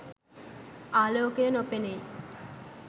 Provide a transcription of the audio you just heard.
ආලෝකය නො පෙනෙයි.